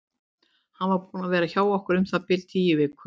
Hann var búinn að vera hjá okkur um það bil tíu vikur.